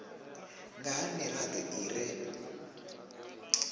nga ha mirado i re